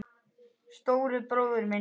Stóri bróðir minn.